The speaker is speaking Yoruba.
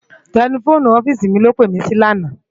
Tèlèfóni òfìsí mi ló pé mi si làná